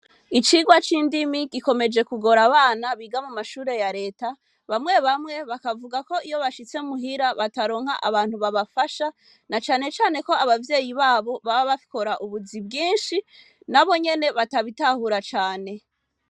Icirwa cindimi gikomeje kugora ,abana biga mumashure ya reta bamwe bamwe bakavuga ko iyo bashitse muhira bataronka abantu babafasha nacanecane ko abavyeyi babana babo babakora ubuzi bwinshi nabonyene batabitahura cane.